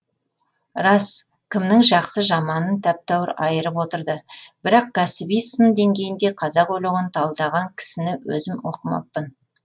рас кімнің жақсы жаманын тәп тәуір айырып отырды бірақ кәсіби сын деңгейінде қазақ өлеңін талдаған кісіні өзім оқымаппын